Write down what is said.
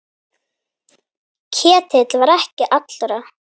Ketill var ekki allra.